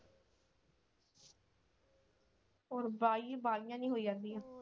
ਹੋਰ ਬਾਈ ਬਾਹਲੀਆਂ ਨਹੀਂ ਹੋਈਆਂ ਸੀ।